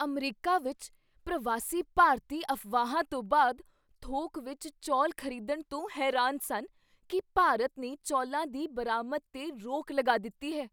America ਵਿੱਚ ਪ੍ਰਵਾਸੀ ਭਾਰਤੀ ਅਫਵਾਹਾਂ ਤੋਂ ਬਾਅਦ ਥੋਕ ਵਿੱਚ ਚੌਲ ਖ਼ਰੀਦਣ ਤੋਂ ਹੈਰਾਨ ਸਨ ਕੀ ਭਾਰਤ ਨੇ ਚੌਲਾਂ ਦੀ ਬਰਾਮਦ 'ਤੇ ਰੋਕ ਲਗਾ ਦਿੱਤੀ ਹੈ।